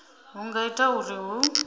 hu nga ita uri hu